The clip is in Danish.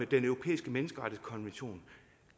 den europæiske menneskerettighedskonvention